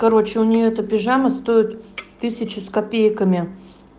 короче у неё это пижама стоит тысячу с копейками